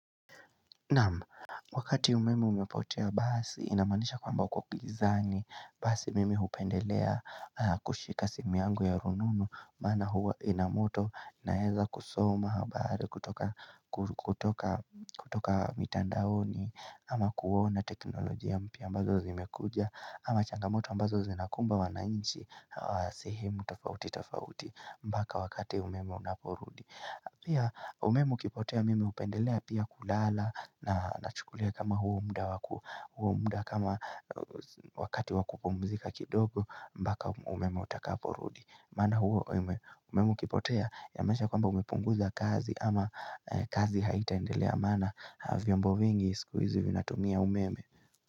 Naam, wakati umeme umepotea basi inamaanisha kwamba uko gizani basi mimi hupendelea kushika simu yangu ya rununu maana huwa inamoto naweza kusoma habari kutoka kutoka mitandaoni ama kuona teknolojia mpya ambazo zimekuja ama changamoto ambazo zinakumba wananchi sehemu tofauti tofauti mpaka wakati umeme unaporudi Pia umeme ukipotea mimi hupendelea pia kulala na nachukulia kama huo muda kama wakati wakupumzika kidogo mpaka umeme utakaporudi. Maana huo umeme ukipotea yamaanisha kwamba umepunguza kazi ama kazi haitaendelea maana vyombo vingi siku hizi vinatumia umeme.